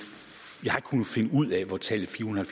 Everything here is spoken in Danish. kunnet finde ud af hvor tallet fire hundrede